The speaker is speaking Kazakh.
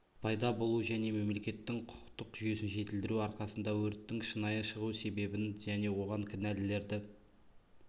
пайда болуы және мемлекеттің құқықтық жүйесін жетілдіру арқасында өрттің шынайы шығу себебін және оған кінәлілерді